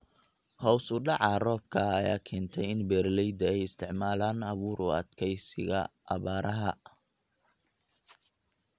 Hoos u dhaca roobka ayaa keentay in beeralayda ay isticmaalaan abuur u adkeysiga abaaraha.